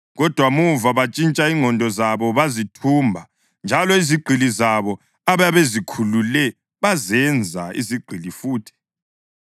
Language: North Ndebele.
Kodwa muva bantshintsha ingqondo zabo bazithumba njalo izigqili zabo ababezikhulule bazenza izigqili futhi.